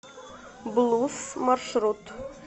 булуус маршрут